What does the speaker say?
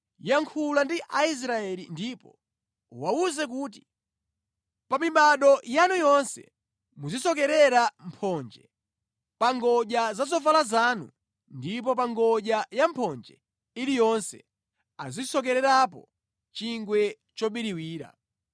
“Yankhula ndi Aisraeli ndipo uwawuze kuti, ‘Pa mibado yanu yonse muzisokerera mphonje pa ngodya za zovala zanu ndipo pa ngodya ya mphonje iliyonse azisokererapo chingwe chobiriwira.